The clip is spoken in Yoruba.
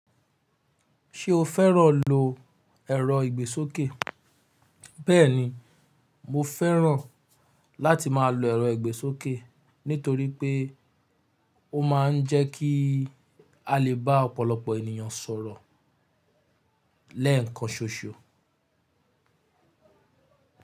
Ṣé o fẹ́ràn lo ẹ̀rọ ìgbésókè? Bẹ́ẹ̀ni, mo fẹ́ràn láti máa lo ẹ̀rọ ìgbésókè nítorí pé ó ma ń jẹ́ kí a lè bá ọ̀pọ̀lọpọ̀ ènìyàn sọ̀rọ̀ lẹ́ẹ̀kan ṣoṣo.